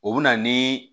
O bɛ na ni